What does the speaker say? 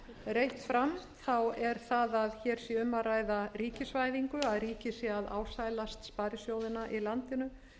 reitt fram er það að hér sé um að ræða ríkisvæðingu að ríkið sé að ásælast sparisjóðina í landinu